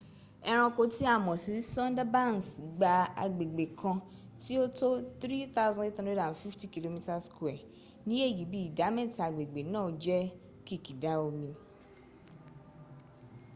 ẹranko tí a mọ̀ sí sundarbans gba agbègbè kan tí ó ó tó 3,850 km² ní èyí bí ìdámẹ́ta agbègbè náà jẹ́ kìkìdá omi/ir